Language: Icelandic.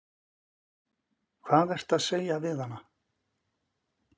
Hvað ertu að segja við hana?